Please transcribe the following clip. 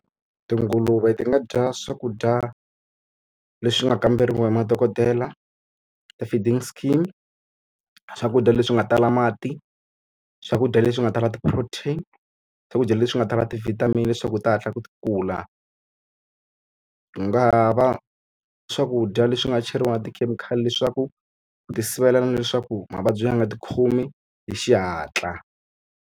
Tinguluve ti nga dya swakudya leswi nga kamberiwa hi madokodela, ti-feeding scheme, swakudya leswi nga tala, mati swakudya leswi nga tala ti-protein, swakudya leswi leswi nga tala ti-vitamin leswaku ti hatla ti kula. Ku nga ha va swakudya leswi nga cheriwa na tikhemikhali leswaku ku ti sivelela na leswaku mavabyi ya nga ti khomi hi xihatla.